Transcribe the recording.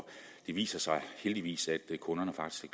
det viser sig heldigvis at kunderne faktisk